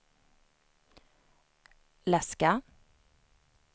läska